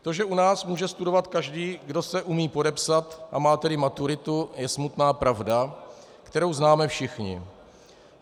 To, že u nás může studovat každý, kdo se umí podepsat, a má tedy maturitu, je smutná pravda, kterou známe všichni.